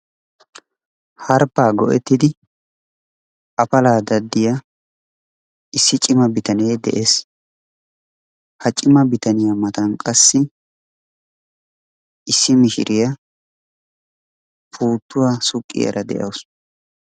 Harppaa goettidi afala issi cimma bittanee de'ees. Ha cimma bitaniya matan qassi issi mishiriyaa puuttuwa suqqiyara de'awusu.